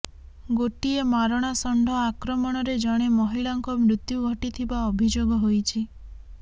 ଗୋଟିଏ ମାରଣା ଷଣ୍ଢ ଆକ୍ରମଣରେ ଜଣେ ମହିଳାଙ୍କ ମୃତ୍ୟୁ ଘଟିଥିବା ଅଭିଯୋଗ ହୋଇଛି